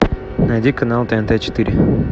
найди канал тнт четыре